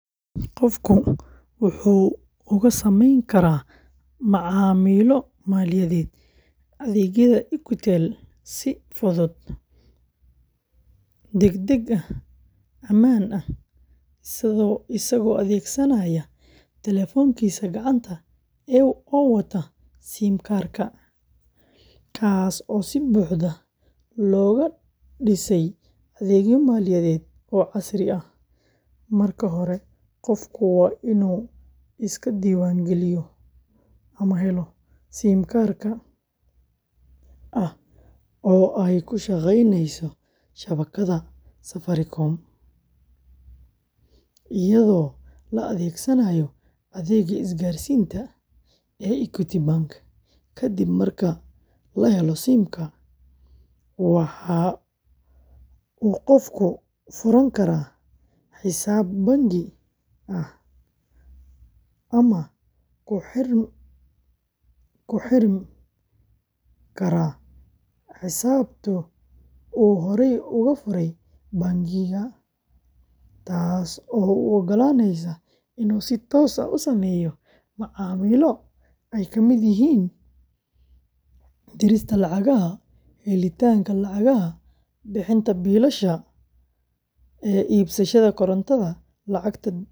Qofku wuxuu uga samayn karaa macaamilo maaliyadeed adeegyada si fudud, degdeg ah, ammaan ah, isagoo adeegsanaya taleefankiisa gacanta oo wata SIM-ka, kaas oo si buuxda loogu dhisay adeegyo maaliyadeed oo casri ah. Marka hore, qofku waa inuu iska diiwaangeliyo ama helo oo ay ku shaqeyneyso shabakadda Safaricom iyadoo la adeegsanayo adeegga isgaarsiinta. Kadib marka la helo SIM-ka, waxa uu qofku furan karaa xisaab bangi oo ah ama ku xirmi karaa xisaabta uu horey uga furay bangiga, taas oo u oggolaaneysa inuu si toos ah u sameeyo macaamilo ay ka mid yihiin dirista lacagaha, helitaanka lacagaha, bixinta biilasha, iibsashada korontada, lacag-dhigista.